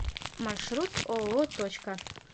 маршрут ооо точка